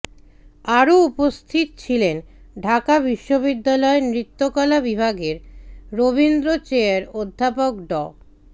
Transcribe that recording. আরো উপস্থিত ছিলেন ঢাকা বিশ্ববিদ্যালয় নৃত্যকলা বিভাগের রবীন্দ্রচেয়ার অধ্যাপক ড